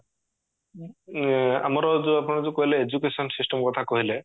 ଏ ଆମର ଯୋଉ ଆପଣ ଯୋଉ କହିଲେ education system କଥା କହିଲେ